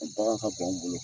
Bagan ka gan anw bolo.